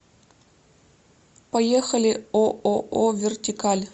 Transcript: поехали ооо вертикаль